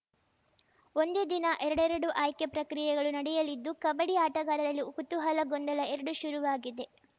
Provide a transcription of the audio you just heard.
ಒಂದೇ ದಿನ ಎರಡೆರಡು ಆಯ್ಕೆ ಪ್ರಕ್ರಿಯೆಗಳು ನಡೆಯಲಿದ್ದು ಕಬಡ್ಡಿ ಆಟಗಾರರಲ್ಲಿ ಕುತೂಹಲ ಗೊಂದಲ ಎರಡೂ ಶುರುವಾಗಿದೆ